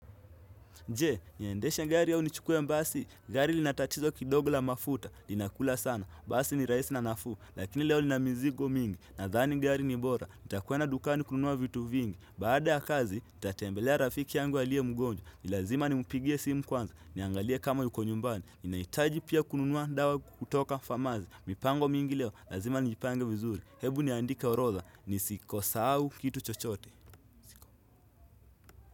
Je, niandesha gari yao ni chukwe mbasi, gari lina tatizo kidogo la mafuta, linakula sana, basi ni rahisi na nafuu, lakini leo nina mizigo mingi, nadhani gari ni bora, nitakuwenda dukani kununua vitu vingi, baada ya kazi, ntatembelea rafiki yangu alie mgonjwa, nilazima nimpigie simu kwanza, niangalie kama yuko nyumbani, ninaitaji pia kununua dawa kutoka famazi, mipango mingi leo, lazima nijipanga vizuri, hebu niandika orodha, nisikosahau kitu chochote.